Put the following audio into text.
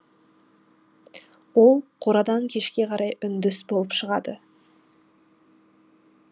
ол қорадан кешке қарай үндіс болып шығады